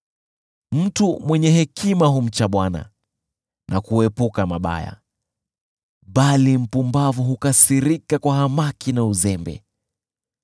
Mtu mwenye hekima humcha Bwana na kuepuka mabaya, bali mpumbavu hukasirika kwa hamaki na uzembe.